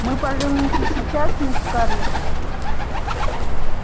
мы поженимся сейчас мисс скарлетт